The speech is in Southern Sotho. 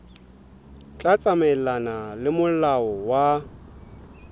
tla tsamaelana le molao wa